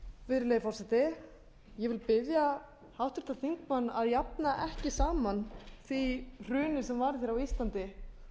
virðulegi forseti ég vil biðja háttvirtan þingmann að jafna ekki saman því hruni sem varð á íslandi